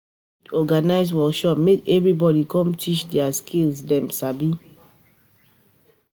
You fit organise workshop make everybodi come teach di skill dem sabi.